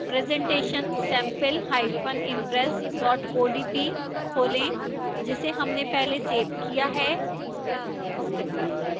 presentation sampleimpress odp खोलें जिसे हमने पहले सेव किया है